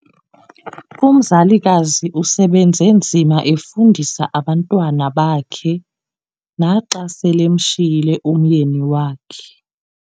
Umzalikazi usebenze nzima efundisa abantwana bakhe naxa selemshiyile umyeni wakhe.